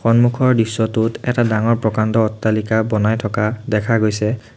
সন্মুখৰ দৃশ্যটোত এটা ডাঙৰ প্ৰকাণ্ড অট্টালিকা বনাই থকা দেখা গৈছে।